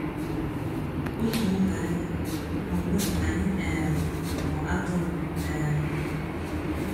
Otu Ụ́bànyà — Ugbu a Anyị um Bụ Atụrụ! um